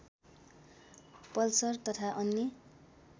Pulsar तथा अन्य